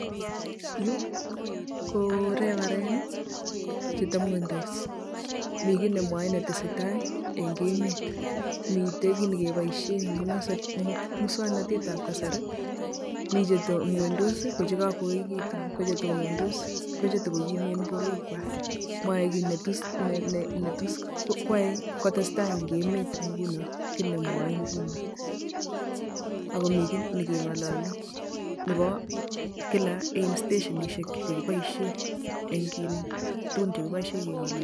Yu ko Reverend che temwendos mi kii ne mwoe ne tesei tai eng emet. Miten kii ne kiboishe eng muswaknatetab kasari. Mi che temwendos ko che kakuoketu, ko che tonondos ko che tukukimen borwekwak. Mwae kii ne tus ko testai eng emet nguno kii ne mwoe nguno. Ako mi kii ne ng'olole nebo kila eng stationishek che kiboishe eng kin tukuk che kiboishe ke ng'olole